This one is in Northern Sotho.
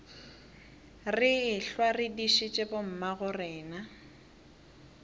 re ehlwa re dišitše bommagorena